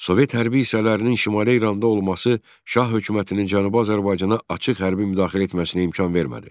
Sovet hərbi hissələrinin Şimali İranda olması Şah hökumətinin Cənubi Azərbaycana açıq hərbi müdaxilə etməsinə imkan vermədi.